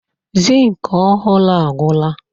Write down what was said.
Zinc ọhụrụ agwụla.